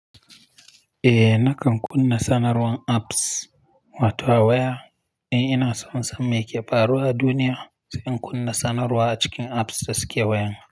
Eh nakan kunna sanarwan apps wato waya. In inason in san meke faruwa a duniya, sai in kunna sanarwa a cikin apps da suke wayan.